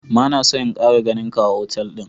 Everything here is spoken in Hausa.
ma na son in Kara ganin ka a otal din.